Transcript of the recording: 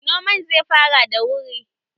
Noman zai fara da wuri